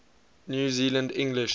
new zealand english